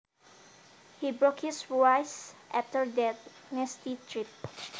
He broke his wrist after that nasty trip